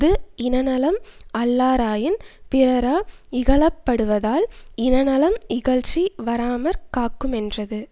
இஃது இனநலம் அல்லாராயின் பிறரா இகழப்படுவதால் இனநலம் இகழ்ச்சி வாராமற் காக்குமென்றது